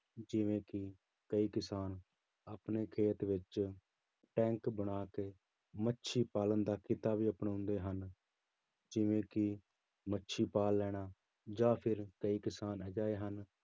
ਜਿਵੇਂ ਕਿ ਕਈ ਕਿਸਾਨ ਆਪਣੇ ਖੇਤ ਵਿੱਚ ਟੈਂਕ ਬਣਾ ਕੇ ਮੱਛੀ ਪਾਲਣ ਦਾ ਕਿੱਤਾ ਵੀ ਅਪਣਾਉਂਦੇ ਹਨ ਜਿਵੇਂ ਕਿ ਮੱਛੀ ਪਾਲ ਲੈਣਾ ਜਾਂ ਕਈ ਕਿਸਾਨ ਅਜਿਹੇ ਹਨ,